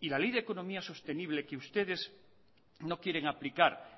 y la ley de economía sostenible que ustedes no quieren aplicar